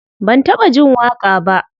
Ban taɓa jin waƙa ba.